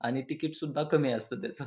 आणि टिकीट सुद्धा कमी असत त्याच --